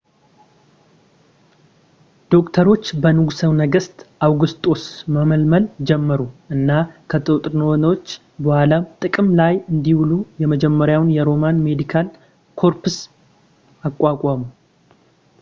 ዶክተሮች በንጉሠ ነገሥት አውጉስጦስ መመልመል ጀመሩ እና ከጦርነቶች በኋላም ጥቅም ላይ እንዲውሉ የመጀመሪያውን የሮማን ሜዲካል ኮርፕስ አቋቋሙ